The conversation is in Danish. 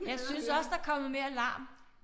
Jeg synes også der kommet mere larm